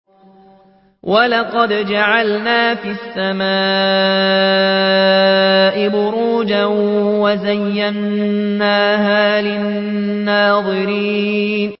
وَلَقَدْ جَعَلْنَا فِي السَّمَاءِ بُرُوجًا وَزَيَّنَّاهَا لِلنَّاظِرِينَ